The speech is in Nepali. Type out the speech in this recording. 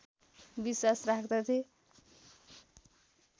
विश्वास राख्दथे